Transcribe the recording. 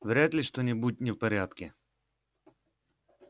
вряд ли что-нибудь не в порядке